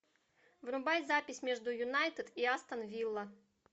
врубай запись между юнайтед и астон вилла